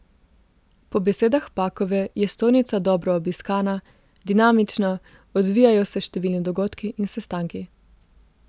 Po besedah Pakove je stojnica dobro obiskana, dinamična, odvijajo se številni dogodki in sestanki.